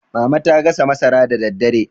mama ta gasa masara da daddare